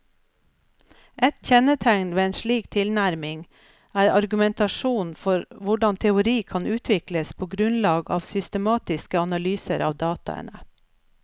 Et kjennetegn ved en slik tilnærming er argumentasjonen for hvordan teori kan utvikles på grunnlag av systematiske analyser av dataene.